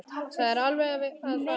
Það er alveg að farast.